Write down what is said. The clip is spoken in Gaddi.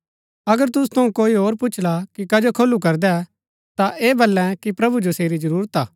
अगर तुसु थऊँ कोई पुछला कि कजो खोलू करदै ता ऐह वलै कि प्रभु जो सेरी जरूरत हा